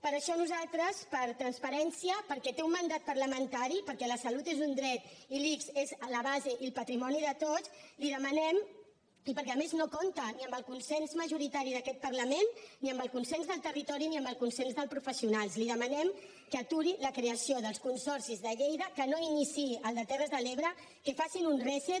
per això nosaltres per transparència perquè té un mandat parlamentari perquè la salut és un dret i l’ics és la base i el patrimoni de tots i perquè a més no compta ni amb el consens majoritari d’aquest parlament ni amb el consens del territori ni amb el consens dels professionals li demanem que aturi la creació dels consorcis de lleida que no iniciï el de terres de l’ebre que facin un reset